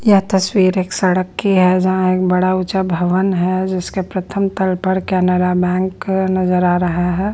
यह तस्वीर एक सड़क की है जहाँ एक बड़ा ऊंचा भवन है जिसके प्रथम तल पर कैनरा बैंक नजर आ रहा है।